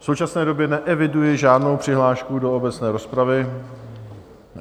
V současné době neeviduji žádnou přihlášku do obecné rozpravy.